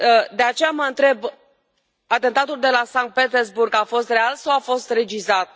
De aceea mă întreb atentatul de la Sankt Petersburg a fost real sau a fost regizat?